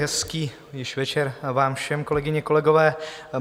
Hezký již večer vám všem, kolegyně, kolegové.